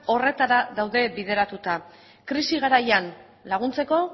horretara daude bideratuta krisi garaian laguntzeko